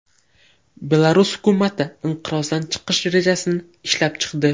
Belarus hukumati inqirozdan chiqish rejasini ishlab chiqdi.